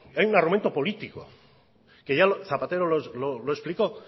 hay un argumento político que ya zapatero lo explicó